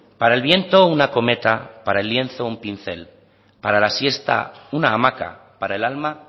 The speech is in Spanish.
para el viento una cometa para el lienzo un pincel para la siesta una hamaca para el alma